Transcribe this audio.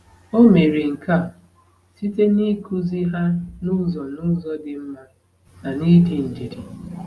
O mere nke a site n’ịkụzi ha n’ụzọ n’ụzọ dị mma na n’ịdị ndidi.